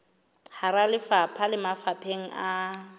hara lefapha le mafapheng a